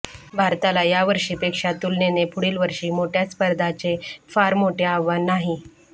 भारताला यावर्षीपेक्षा तुलनेने पुढील वर्षी मोठय़ा स्पर्धाचे फार मोठे आव्हान नाही